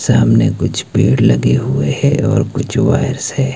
सामने कुछ पेड़ लगे हुए हैं और कुछ वायर्स है।